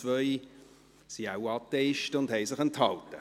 2 sind wohl Atheisten und haben sich enthalten.